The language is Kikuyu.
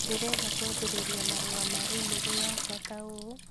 Ndĩrenda kwambĩrĩria marũa ma i-mīrū yakwa ta ũũ